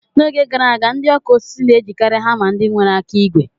N'oge gara aga, ndị ọkụ osisi na-ejikari hama ndị nwere aka ígwè.